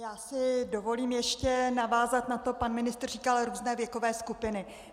Já si dovolím ještě navázat na to - pan ministr říkal různé věkové skupiny.